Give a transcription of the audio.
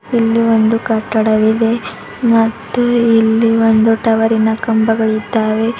ಇಲ್ಲಿ ಒಂದು ಕಟ್ಟಡವಿದೆ ಮತ್ತು ಇಲ್ಲಿ ಬಂದು ಟವರಿನ ಕಂಬಗಳಿದ್ದಾವೆ.